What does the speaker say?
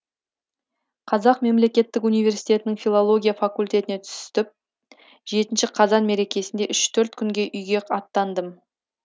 қазақ мемлекеттік университетінің филология факультетіне түстіп жетінші қазан мерекесінде үш төрт күнге үйге аттандым